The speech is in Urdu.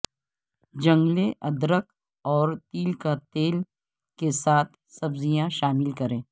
جنگلے ادرک اور تل کا تیل کے ساتھ سبزیاں شامل کریں